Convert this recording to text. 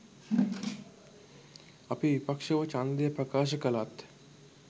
අපි විපක්ෂව ඡන්දය ප්‍රකාශ කළත්